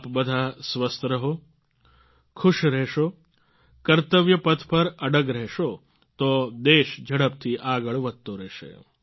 આપ બધા સ્વસ્થ રહો ખુશ રહેશો કર્તવ્ય પથ પર અડગ રહેશો તો દેશ ઝડપથી આગળ વધતો રહેશે